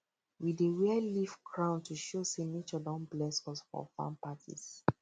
we dey wear leaf crown to show say nature don bless us for farm parties